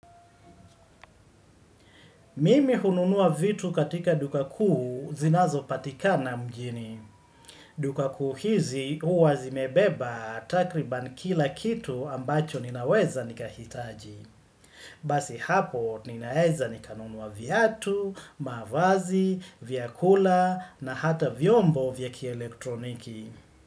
Mimi hununua vitu katika duka kuu zinazopatikana mjini. Duka kuu hizi huwa zimebeba takriban kila kitu ambacho ninaweza nikahitaji. Basi hapo ninaweza nikanunua viatu, mavazi, vyakula na hata vyombo vya kielektroniki.